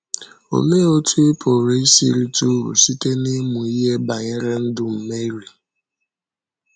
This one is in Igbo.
Olee otú ị pụrụ isi rite uru site n’ịmụ ihe banyere ndụ Meri?